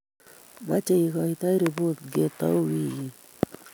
Meche igoite ripotit ngetau weekit---